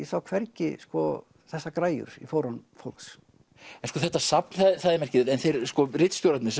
sá hvergi þessar græjur í fórum fólks en sko þetta safn það er merkilegt en ritstjórarnir